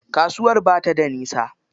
Kasuwar ba ta da nisa.